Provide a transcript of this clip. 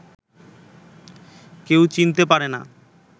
কেউ চিনতে পারে না